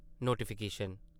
notification